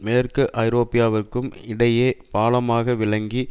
மேற்கு ஐரோப்பாவிற்கும் இடையே பாலமாக விளங்கி